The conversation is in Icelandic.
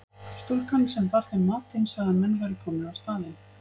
Stúlkan sem bar þeim matinn sagði að menn væru komnir á staðinn.